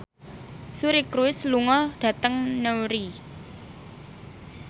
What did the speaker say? Suri Cruise lunga dhateng Newry